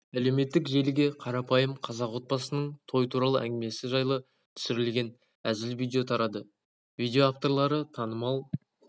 әлеуметтік желіге қарапайым қазақ отбасының той туралы әңгімесі жайлы түсірілген әзіл видео тарады видео авторлары танымал